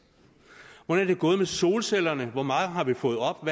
hvordan er det gået med solcellerne hvor mange har vi fået op